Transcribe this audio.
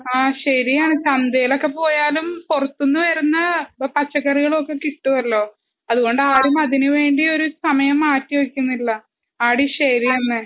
ആ ശരിയാണ് ചന്തയിലൊക്കെപോയാലും പുറത്തുന്നു വരുന്ന പച്ചക്കറികളൊക്കെ കിട്ടുമല്ലോ? അതുകൊണ്ടു ആരും അതിന് വേണ്ടി ഒരു സമയം മാറ്റി വെക്കുന്നില്ല. ആടി ശരിയെന്ന.